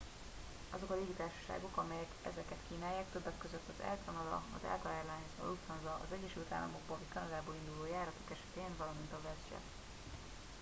azok a légitársaságok amelyek ezeket kínálják többek között az air canada a delta air lines a lufthansa az egyesült államokból vagy kanadából induló járatok esetén valamint a westjet